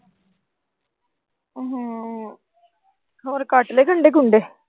ਹੋਰ ਕੱਟ ਲੈ ਗੰਡੇ ਗੁੰਡੇ